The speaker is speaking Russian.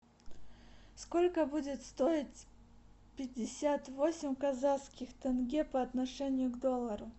сколько будет стоить пятьдесят восемь казахских тенге по отношению к доллару